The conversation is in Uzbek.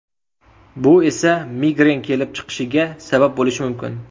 Bu esa migren kelib chiqishiga sabab bo‘lishi mumkin.